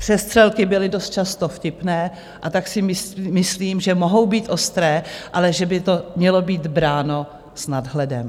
Přestřelky byly dost často vtipné, a tak si myslím, že mohou být ostré, ale že by to mělo být bráno s nadhledem.